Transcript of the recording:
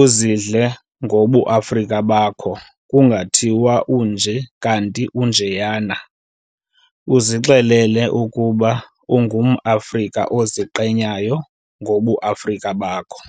uzidle ngobu Afrika bakho kungathiwa unjena kanti unjeyana uzixelele ukuba ungumAfrika oziqenyayo ngobuAfrika bakho.